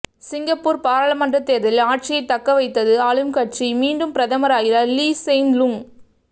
Singapore பாராளுமன்ற தேர்தலில் ஆட்சியை தக்கவைத்தது ஆளும் கட்சி மீண்டும் பிரதமராகிறார் லீ செய்ன் லூங்